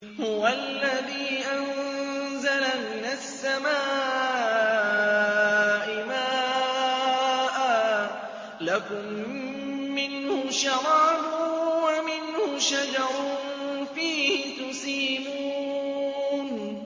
هُوَ الَّذِي أَنزَلَ مِنَ السَّمَاءِ مَاءً ۖ لَّكُم مِّنْهُ شَرَابٌ وَمِنْهُ شَجَرٌ فِيهِ تُسِيمُونَ